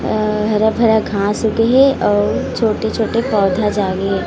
अ हरा-भरा घास उगे हे अउ छोटे-छोटे पौधा उगे हे।